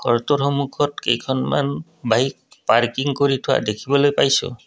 কেইখনমান bike parking কৰি থোৱা দেখিবলৈ পাইছোঁ।